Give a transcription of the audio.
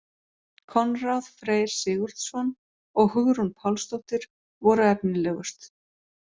Konráð Freyr Sigurðsson og Hugrún Pálsdóttir voru efnilegust.